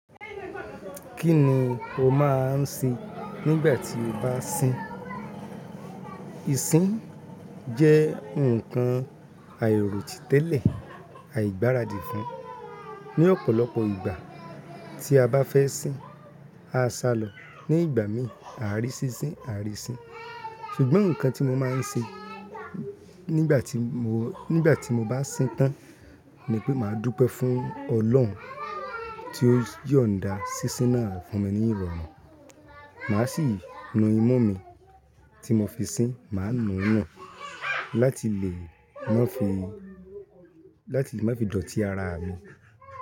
Kí ni o máa ń ṣe nígbà tí o bá sín? Isín jẹ́ nǹkan àìròtìtẹ́lẹ̀, àìgbáradì fún. Ni ọ̀pọ̀lọpọ̀ ìgbà tí a bá fẹ́ sín, a sá lọ. Ní ìgbà mi, àárín ṣíṣín, àárín sín. Ṣùgbọ́n nǹkan tí mo máa ń ṣe nígbà tí mo, nígbà tí mo bá sín tán ni pé màá dúpẹ́ fún Ọlọ́run tí ó yọ̀nda ṣíṣín náà fún mi ní ìrọ̀rùn. Màá sì nu imú mi tí mo fi sín, màá nu ún hàn láti lè má fi, láti má fi dọ̀tí ara mi.